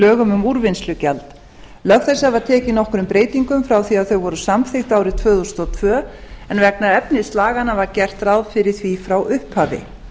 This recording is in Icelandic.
lögum um úrvinnslugjald lög þessi hafa tekið nokkrum breytingum frá því að þau voru samþykkt árið tvö þúsund og tvö en vegna efnis laganna var gert ráð fyrir því frá upphafi